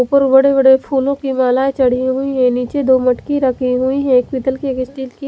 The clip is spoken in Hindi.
उपर बड़े बड़े फूलो की मालाये छड़ी हुई है निचे दो मटकी रखी हुई है एक पीतल की एक स्टील की--